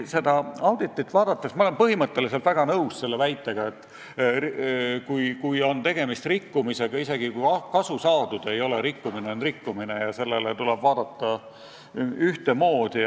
Ma olen põhimõtteliselt väga nõus selle väitega, et kui on tegemist rikkumisega, siis isegi kui kasu saadud ei ole, rikkumine on rikkumine ja sellesse tuleb suhtuda ühtemoodi.